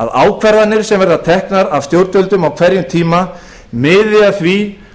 að ákvarðanir sem teknar verði af stjórnvöldum af hverjum tíma miði af því